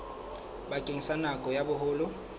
bakeng sa nako ya boholo